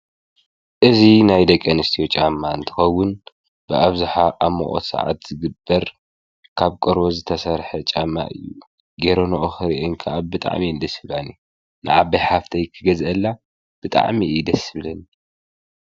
እዙ ናይ ደቀንስትዮ ጫማ እንትኸውን ብኣብዙኃ ኣምዖት ሰዓት ዝግበር ካብ ቆርበ ዝተሠርሐ ጫማ እዩ ጌሮኖኦ ኽር አንካኣብ ብጥዕሚ እንደ ሲባኒ ንኣብ ሃፍተይ ክገዘአላ ብጣዕሚ እይደስብለኒ።